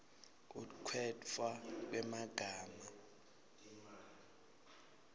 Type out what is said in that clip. kukhetfwa kwemagama